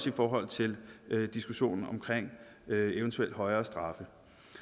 i forhold til diskussionen omkring eventuelt højere straffe